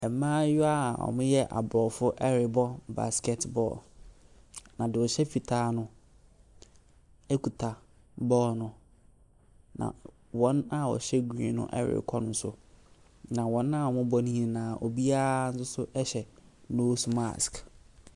Mmaayewa a wɔyɛ aborɔfo ɛrebɔ basket ball. Na deɛ ɔhyɛ fitaa no kita bɔɔlo no. Na wɔn a wɔhyɛ green no ɛrekɔ ne so. Na wɔn a wɔrebɔ ne nyinaa biara hyɛ nose mask.